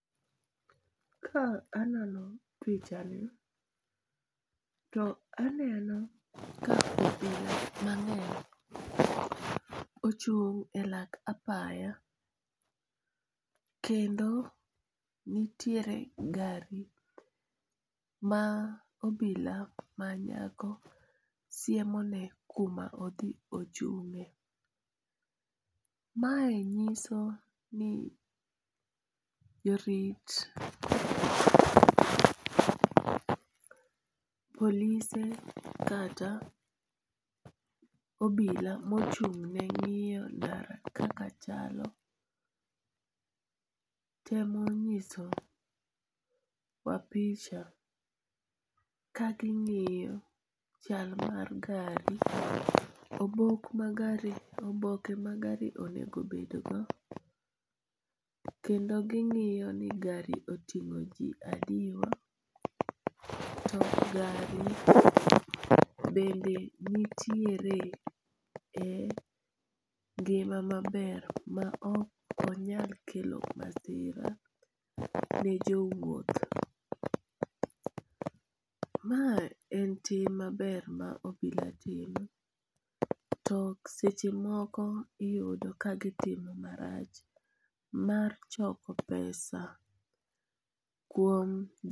Ka anono pichani to aneno ka obila mang'eny ochung' e lak apaya, kendo nitiere gari ma obila manyako siemone kuma odhi ochung'e, mae nyiso ni jorit polise kata obila ma ochung'ne ng'iyo ndara kaka chalo temo nyiso ni ka ging'iyo chal mar gari. Obok mar gari oboke ma gari onego bedgok kendo ging'iyo ni gari oting'o ji adiwa to gari bende nitiere e ngima maber ma ok nyal kelo masira ne jo wuoth. Mae en tim maber ma obila timo to seche moko iyudo ka gitimo marach mar choko pesa kuom